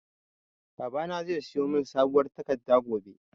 Babana zai siyo mun sabuwar takarda gobe